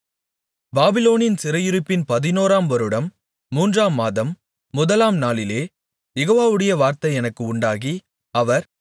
பாபிலோனின் சிறையிருப்பின் பதினோராம் வருடம் மூன்றாம் மாதம் முதலாம் நாளிலே யெகோவாவுடைய வார்த்தை எனக்கு உண்டாகி அவர்